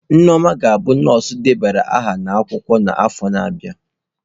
Nneoma ga-abụ nọọsụ debara aha n'akwụkwọ n'afọ na-abịa.